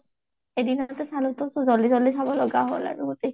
এদিনতে চলোটো so জলদি জলদি চাব লগা হ'ল আৰু ই